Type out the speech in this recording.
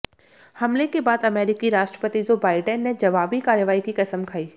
हमले के बाद अमेरिकी राष्ट्रपति जो बाइडेन ने जवाबी कार्रवाई की कसम खाई